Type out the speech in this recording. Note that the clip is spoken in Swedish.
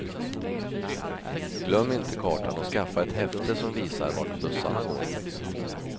Glöm inte kartan och skaffa ett häfte som visar vart bussarna går.